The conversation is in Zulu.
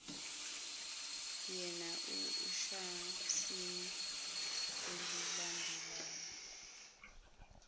yana ekhasini elilandelayo